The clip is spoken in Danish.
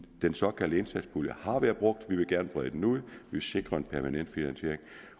den såkaldte indsatspulje har været brugt vi vil gerne brede den ud vil sikre en permanent finansiering